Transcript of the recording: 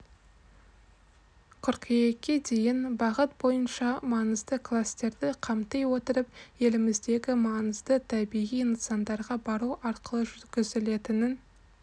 қыркүйекке дейін бағыт бойынша маңызды кластерді қамти отырып еліміздегі маңызды табиғи нысандарға бару арқылы жүргізілетінін